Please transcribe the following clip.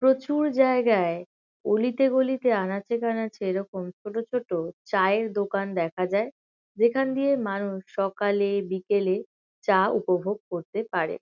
প্রচুর জায়গায় অলিতে-গলিতে আনাচে-কানাচে এরকম ছোট ছোট চায়ের দোকান দেখা যায়। যেখান দিয়ে মানুষ সকালে বিকেলে চা উপভোগ করতে পারে।